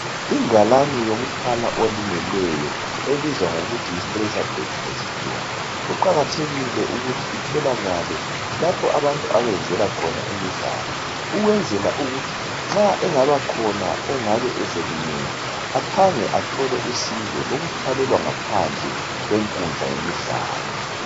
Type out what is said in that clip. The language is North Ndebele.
Ingalane yokuthwala olimeleyo. Kuqakathekile ukuthi itholakale lapho abantu abenzela khona imidlalo ukwenzela ukuthi nxa engaba khona ongabe eselimele aphange athole usizo lokuthwalelwa ngaphandle kwenkundla yemidlalo.